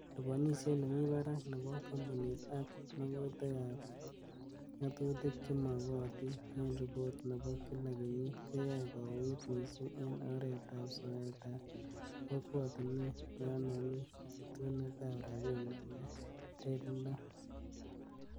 Liponisiet nemi barak nebo kompunit ak magutik ab ngatutik chemokotin en ripot nebo kila kenyit koyoe kouuit missing en oretab soetab kokwotinwek yon momi chutunet ab rabinik ne teleelot.